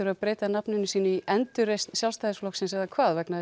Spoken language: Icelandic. breyta nafninu sínu í endurreisn Sjálfstæðisflokksins eða hvað vegna þess